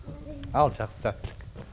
ал жақсы сәттілік